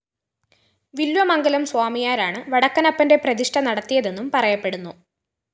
വില്വമംഗലം സ്വാമിയാരാണ് വടക്കനപ്പന്റെ പ്രതിഷ്ഠ നടത്തിയതെന്നും പറയപ്പെടുന്നു